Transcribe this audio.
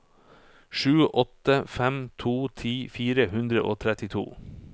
sju åtte fem to ti fire hundre og trettito